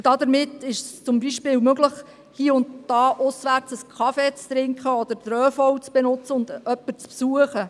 Damit ist es zum Beispiel möglich, hie und da auswärts einen Kaffee zu trinken oder den ÖV zu benutzen und jemanden zu besuchen.